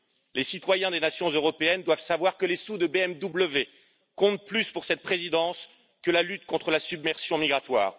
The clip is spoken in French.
Les citoyens des nations européennes doivent savoir que les sous de BMW comptent plus pour cette Présidence que la lutte contre la submersion migratoire.